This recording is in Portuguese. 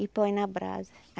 E põe na brasa.